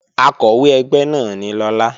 Akọ̀wé ẹgbẹ́ náà ni Lọlá